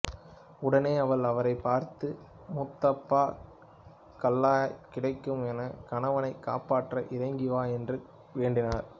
உடனே அவள் அவரைப் பார்த்து முத்தப்பா கல்லாய்க் கிடக்கும் என் கணவனைக் காப்பாற்ற இறங்கி வா என்று வேண்டினார்